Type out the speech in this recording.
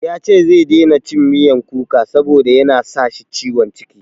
Ya ce zai daina cin miyan kuka saboda ya na sa shi ciwon ciki.